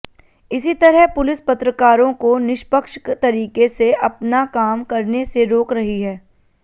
इसी तरह पुलिस पत्रकारों को निष्पक्ष तरीके से अपना काम करने से रोक रही है